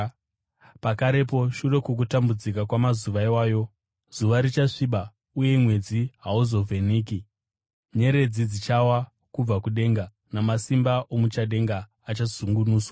“Pakarepo shure kwokutambudzika kwamazuva iwayo, “ ‘zuva richasviba, uye mwedzi hauzovheneki; nyeredzi dzichawa kubva kudenga, namasimba omuchadenga achazungunuswa.’